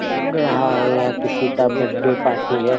लग रहा है यह किसका बडे पार्टी है।